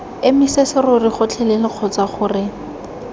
emise serori gotlhelele kgotsa gore